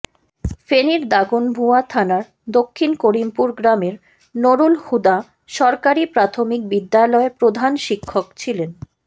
ফেনীর দাগনভূঞা থানার দক্ষিণ করিমপুর গ্রামের নুরুলহুদা সরকারি প্রাথমিক বিদ্যালয়ের প্রধান শিক্ষক ছিলেন